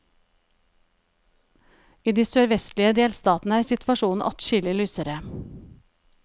I de sørvestlige delstatene er situasjonen adskillig lysere.